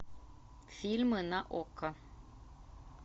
фильмы на окко